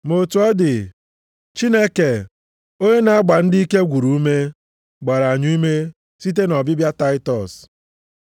Ma otu ọ dị, Chineke, onye na-agba ndị ike gwụrụ ume, gbara anyị ume site nʼọbịbịa Taịtọs.